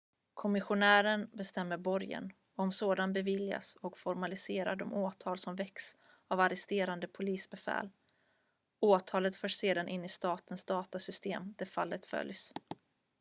kommissionären bestämmer borgen om sådan beviljas och formaliserar de åtal som väckts av arresterande polisbefäl åtalet förs sedan in i statens datorsystem där fallet följs